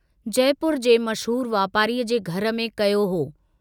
जयपुर जे मशहूर वापारीअ जे घर में कयो हो।